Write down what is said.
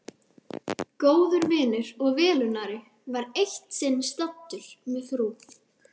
Góður vinur og velunnari var eitt sinn staddur með frú